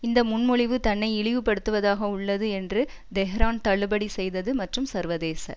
இந்த முன்மொழிவு தன்னை இழிவுபடுத்துவதாக உள்ளது என்று தெஹ்ரான் தள்ளுபடி செய்தது மற்றும் சர்வதேச